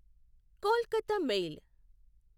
Kolkata mail